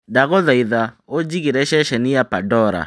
ndagũthaitha ũnjigĩre ceceni ya pandora